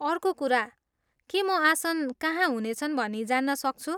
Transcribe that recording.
अर्को कुरा, के म आसन कहाँ हुनेछन् भनी जान्न सक्छु?